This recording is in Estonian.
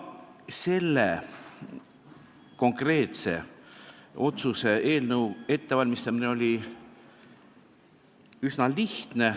Selle konkreetse eelnõu ettevalmistamine oli üsna lihtne.